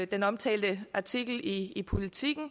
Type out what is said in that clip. den omtalte artikel i politiken